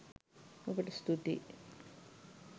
ඔබට ස්තුතියි.